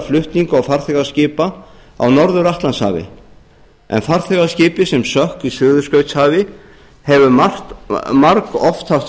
flutninga og farþegaskipa á norður atlantshafi en farþegaskipið sem sökk í suðurskautshafi hefur margoft haft